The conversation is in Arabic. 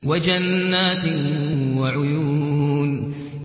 وَجَنَّاتٍ وَعُيُونٍ